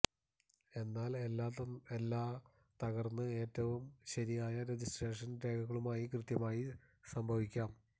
എന്നാൽ എല്ലാ തകർന്ന് ഏറ്റവും ശരിയായ രജിസ്ട്രേഷൻ രേഖകളുമായി കൃത്യമായും സംഭവിക്കാം